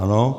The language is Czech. Ano.